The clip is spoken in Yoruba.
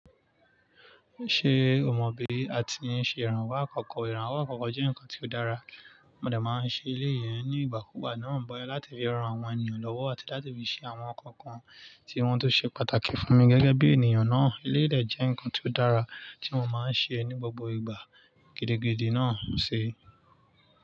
Ṣé o mọ̀ bí a ti ń ṣe ìrànwọ́ àkọ́kọ́? Ìrànwọ́ àkọ́kọ́ jẹ́ nǹkan tó dára, mo de máa ń ṣe eléyii ní ìgbà kú ìgbà náà bọ̀ láti fi ran àwọn ènìyàn lọ́wọ́ àti láti fi ṣe àwọn nnkan kan tí wọ́n tó ṣe pàtàkì fún mi gẹ́gẹ́ bí ènìyàn náà. Eléyii de jẹ́ nǹkan tó dára tí mo máa ń ṣe ní gbogbo ìgbà gidigidi náà ṣi.